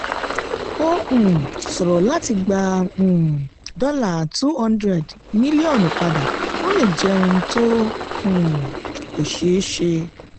ó um ṣòro láti gbà um dollar two hundred mílíọ̀nù padà ó lè jẹ́ ohun tó um kọ́ ṣeé ṣe.